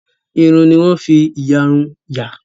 Iru ni wọ́n ń fi ìyàrun yà.